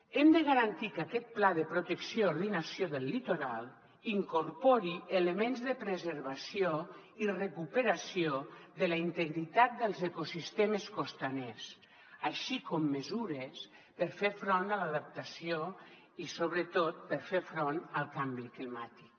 hem de garantir que aquest pla de protecció i ordenació del litoral incorpori elements de preservació i recuperació de la integritat dels ecosistemes costaners així com mesures per fer front a l’adaptació i sobretot per fer front al canvi climàtic